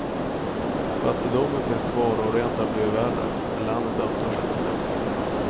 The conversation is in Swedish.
Fattigdomen finns kvar och har rent av blivit värre, men landet öppnar sig mot väst.